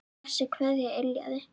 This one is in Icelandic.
Þessi kveðja yljaði.